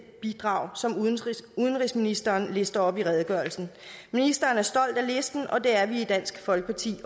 bidrag som udenrigsministeren lister op i redegørelsen ministeren er stolt af listen og det er vi også i dansk folkeparti